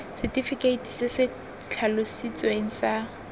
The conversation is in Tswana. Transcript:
setefikeite se se tlhalositsweng sa